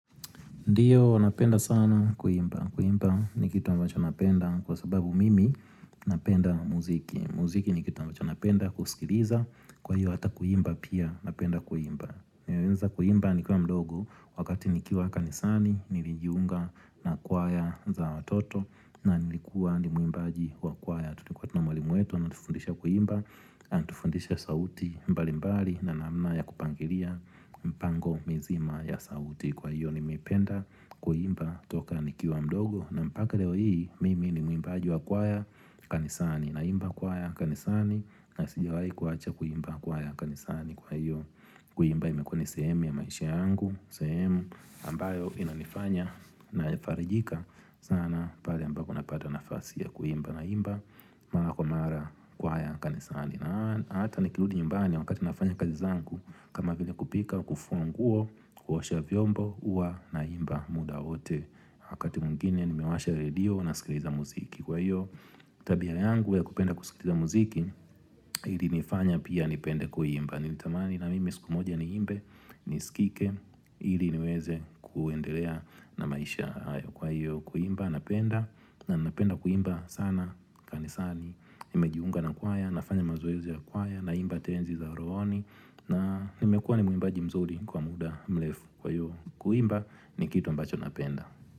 Ndiyo napenda sana kuimba. Kuimba ni kitu ambacho napenda kwa sababu mimi napenda muziki. Muziki ni kitu ambacho napenda kusikiliza kwa hiyo hata kuimba pia napenda kuimba. Nilianza kuimba ni kiwa mdogo wakati nikiwa kanisani nilijiunga na kwaya za watoto na nilikuwa ni muimbaji wa kwaya. Na tuliikuwa tunamwalimu wetu ametufundisha kuimba na tufundisha sauti mbali mbali na namna ya kupangilia mpango mizima ya sauti Kwa hiyo ni mependa kuimba toka nikiwa mdogo na mpaka leo hii mimi ni mwimbaji wa kwaya kanisani Naimba kwaya kanisani na sijiwahi kuacha kuimba kwaya kanisani Kwa hiyo kuimba imekuwa ni sehemu ya maisha yangu sehemu ambayo inanifanya na farijika sana pale ambako napata nafasi ya kuimba na imba mara kwa mara kwaya kanisani na ata nikirudi nyumbani wakati nafanya kazi zangu kama vile kupika kufua nguo kuosha vyombo huwa naimba muda wote wakati mwingine nimewasha radio na skiliza muziki kwa hiyo tabia yangu ya kupenda kuskiliza muziki hili nifanya pia nipende kuimba nilitamani na mimi siku moja ni imbe niskike ili niweze kuendelea na maisha hayo kwa hiyo kuimba napenda na napenda kuimba sana kanisani, nimejiunga na kwaya, nafanya mazoezi ya kwaya na imba tenzi za rohoni na nimekuwa ni muimbaji mzuri kwa muda mrefu kwa hiyo Kuimba ni kitu ambacho napenda.